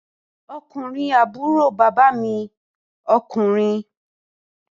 Ọkùnrin àbúrò bàbá mi ọkùnrin